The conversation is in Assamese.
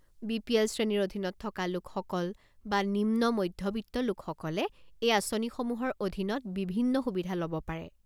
বি পি এল শ্ৰেণীৰ অধীনত থকা লোকসকল বা নিম্ন মধ্যবিত্ত লোকসকলে এই আঁচনিসমূহৰ অধীনত বিভিন্ন সুবিধা ল'ব পাৰে।